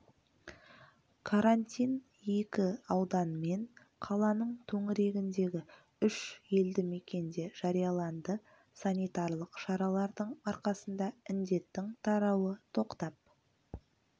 карантин екі аудан мен қаланың төңірегіндегі үш елді мекенде жарияланды санитарлық шаралардың арқасында індеттің тарауы тоқтап